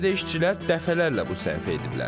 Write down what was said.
Bəlkə də işçilər dəfələrlə bu səhvi ediblər.